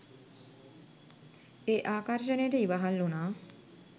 ඒ ආකර්ෂණයට ඉවහල් වුණා.